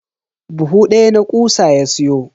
Buhu daya na kutsa ya siyo.